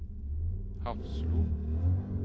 Hafslo